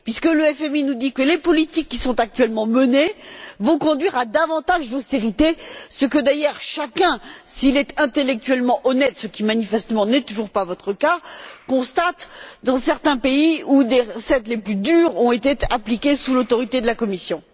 En effet, le FMI nous dit que les politiques qui sont actuellement menées vont conduire à davantage d'austérité, ce que d'ailleurs chacun, s'il est intellectuellement honnête ce qui, manifestement, n'est toujours pas votre cas constate dans certains pays où des recettes extrêmement dures ont été appliquées sous l'autorité de la Commission.